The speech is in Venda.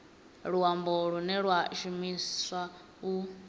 luambo lune lwa shumiswa u